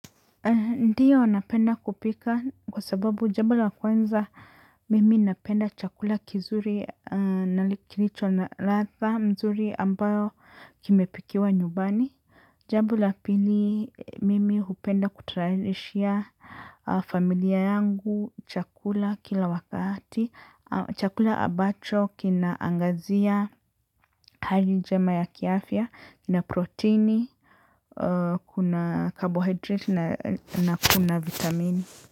Ndiyo napenda kupika kwa sababu jambo la kwanza mimi napenda chakula kizuri na kilicho na latha mzuri ambayo kimepikiwa nyumbani. Jambo la pili mimi hupenda kutayarishia familia yangu chakula kila wakati. Chakula abacho kinaangazia hali njema ya kiafia kina proteini. Kuna carbohydrate na kuna vitamini.